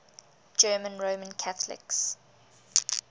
german roman catholics